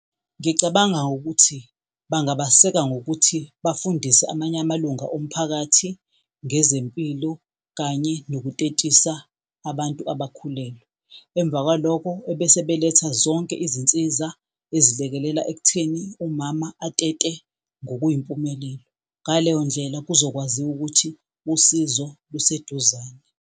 Ngicabanga ukuthi bangabaseka ngokuthi bafundise amanye amalunga omphakathi ngezempilo kanye nokutetisa abantu abakhulelwe. Emva kwaloko ebese beletha zonke izinsiza ezilekelela ekutheni umama atete ngokuyimpumelelo. Ngaleyo ndlela kuzokwaziwa ukuthi usizo luseduzane.